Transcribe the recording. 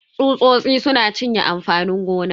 Tsusosi suna cinye amfanin gona.